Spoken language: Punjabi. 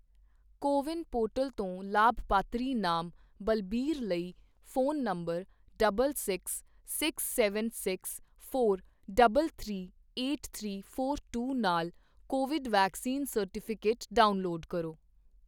ਕੋ ਵਿਨ ਪੋਰਟਲ ਤੋਂ ਲਾਭਪਾਤਰੀ ਨਾਮ ਬਲਬੀਰ ਲਈ phone number double six seven six four double three eight three four two ਨਾਲ ਕੋਵਿਡ ਵੈਕਸੀਨ ਸਰਟੀਫਿਕੇਟ ਡਾਊਨਲੋਡ ਕਰੋ।